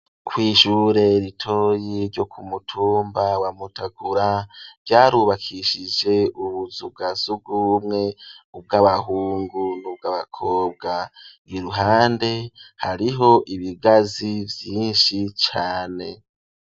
Kw'ishure ritoyi ryo ku mutumba wa mutagura byarubakishije ubuzugazugu bumwe ubw'abahungu nubw'abakobwa iruhande hariho ibigazi vyinshi cane.